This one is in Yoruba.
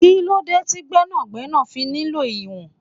Kí lóde ti Gbẹ́nàgbẹ́nà fi nílò ìwọ̀n?